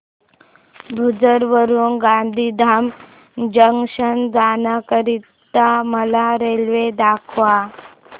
भुज वरून गांधीधाम जंक्शन जाण्या करीता मला रेल्वे दाखवा